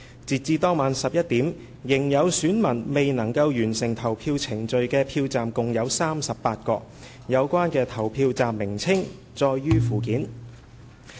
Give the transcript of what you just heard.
截至當晚11時，仍有選民未能完成投票程序的票站共有38個，有關的投票站名稱載於附件。